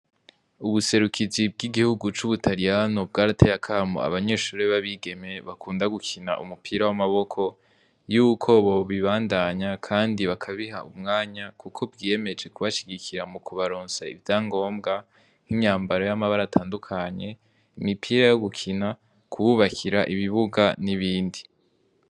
Ubuserukizi bw'igihugu c'Ubutariyano, bwarateye akamo abanyeshure b'abigeme bakunda gukina umupira w'amaboko, yuko bobibandanya kandi bakabiha umwanya, kuko bwiyemeje kubashigikira mukubaronsa ivya ngombwa nk'imyambaro y'amabara atandukanye, imipira yo gukina , kububakira ibibuga n'ibindi...